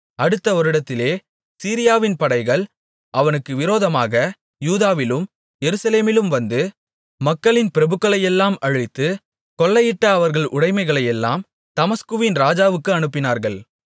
அடுத்த வருடத்திலே சீரியாவின் படைகள் அவனுக்கு விரோதமாக யூதாவிலும் எருசலேமிலும் வந்து மக்களின் பிரபுக்களையெல்லாம் அழித்து கொள்ளையிட்ட அவர்கள் உடைமைகளையெல்லாம் தமஸ்குவின் ராஜாவுக்கு அனுப்பினார்கள்